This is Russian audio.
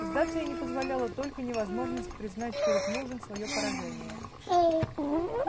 сдаться ей не позволяла только невозможность признать перед мужем своё поражение